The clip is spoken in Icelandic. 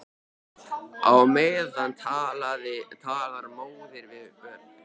Á meðan talar móðir við börn.